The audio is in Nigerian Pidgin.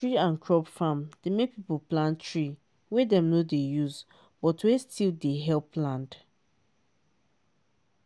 tree and crop farm dey make people plant tree wey dem no dey use but wey still dey help land.